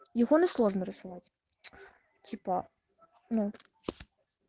телефоны сложно расылать типа ну